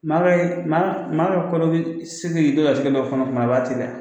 Maraka mara kɔrɔ bɛ segin dɔ kasi dɔ fana fana waati dɛ